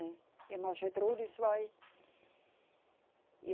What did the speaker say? Né. A irmã Gertrudes vai.